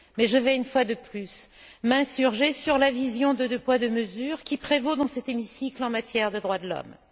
Mais je vais, une fois de plus, m'insurger sur la vision de deux poids, deux mesures qui prévaut dans cet hémicycle en matière de droits de l'homme.